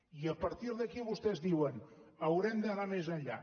i a partir d’aquí vostès diuen haurem d’anar més enllà